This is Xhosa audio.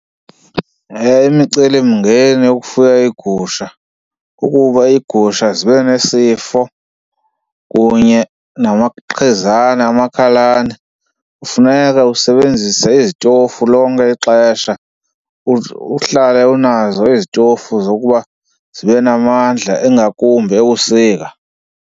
Imicelimngeni yokufuya iigusha kukuba iigusha zibe nesifo kunye namaqhizana amakhalane. Kufuneka usebenzise izitofu lonke ixesha, uhlale unazo izitofu zokuba zibe namandla ingakumbi ebusika.